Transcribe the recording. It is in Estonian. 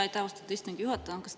Aitäh, austatud istungi juhataja!